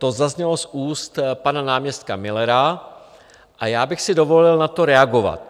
To zaznělo z úst pana náměstka Millera a já bych si dovolil na to reagovat.